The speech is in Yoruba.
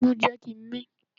Imú jẹ́ kí a mín.